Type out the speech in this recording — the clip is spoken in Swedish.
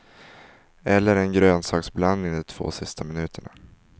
Eller en grönsaksblandning de två sista minuterna.